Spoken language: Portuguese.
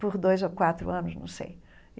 por dois ou quatro anos, não sei.